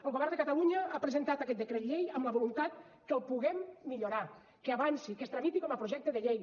el govern de catalunya ha presentat aquest decret llei amb la voluntat que el puguem millorar que avanci que es tramiti com a projecte de llei